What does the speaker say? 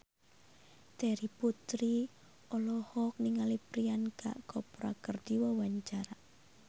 Terry Putri olohok ningali Priyanka Chopra keur diwawancara